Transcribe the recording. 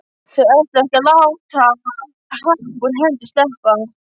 Þau ætluðu ekki að láta happ úr hendi sleppa.